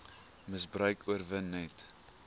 misbruik oorwin net